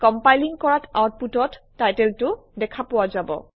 compiling কৰাত আউটপুটত টাইটেলটো দেখা পোৱা যাব